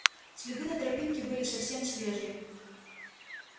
следы на тропинке были совсем свежие